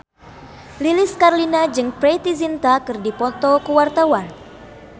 Lilis Karlina jeung Preity Zinta keur dipoto ku wartawan